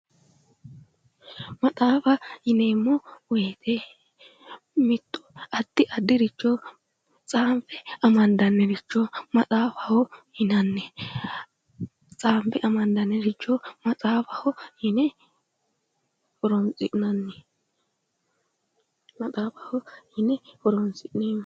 Maxaafa yineemmo woyite mitto addi addiricho tsaanfe amandanniricho maxaafaho yinanni. Tsaanfe amandanniricho maxaafaho yine horoonsi'nanni. Maxaafaho yine horoonsi'neemmo.